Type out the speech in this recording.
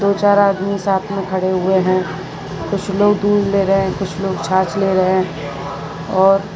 दो चार आदमी साथ में खड़े हुए हैं कुछ लोग दूध ले रहे हैं कुछ लोग छाछ ले रहे हैं और --